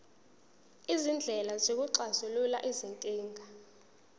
izindlela zokuxazulula izinkinga